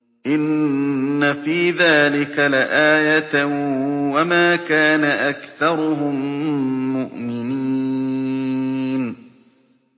إِنَّ فِي ذَٰلِكَ لَآيَةً ۖ وَمَا كَانَ أَكْثَرُهُم مُّؤْمِنِينَ